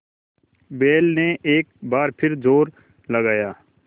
बैल ने एक बार फिर जोर लगाया